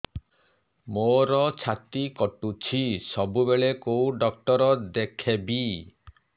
ମୋର ଛାତି କଟୁଛି ସବୁବେଳେ କୋଉ ଡକ୍ଟର ଦେଖେବି